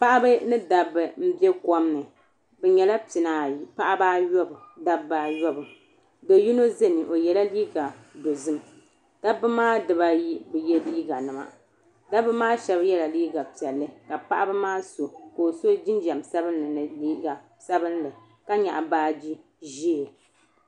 Paɣaba ni dabba n bɛ kɔm ni bi nyɛla pia ni ayi paɣaba ayobu dabba ayobu doo yino zami o yela liiga dozim dabba di ba ayi bi ye liiga nima dabba shaba yela liiga piɛlli ka paɣaba maa so ka o so jinjam sabinli ni liiga sabinli ka nyaɣi baaji ʒee.